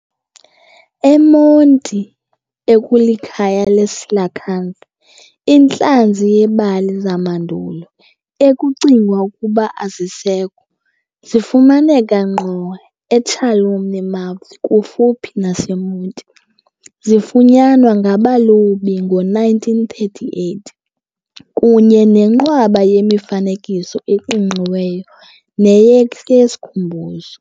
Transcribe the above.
eMonti ekulikhaya leecoelacanth, intlanzi yembali zamandulo, ekucingwa ukuba azisekho, zifumaneka ngqo eChalumna Mouth kufuphi naseMonti zifunyanwa ngabalobi ngo-1938, kunye nenqwaba yemifanekiso eqingqiweyo nekuyeyesikhumbuzo.